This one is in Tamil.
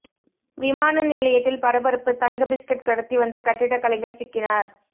விமான நிலையத்தில் பரபரப்பு தங்க பிஸ்கட் கடத்தி வந்த கட்டிடக்கலைஞர் சிக்கினார்